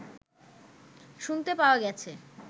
শুনতে পাওয়া গেছে